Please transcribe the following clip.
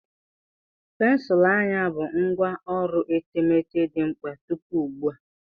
Pensụl anya bụ ngwá ọrụ etemeete dị mkpa tupu ugbu a.